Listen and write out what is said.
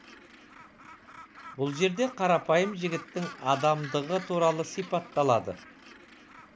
бұл жерде қарапайым жігіттің адамдығы туралы сипатталады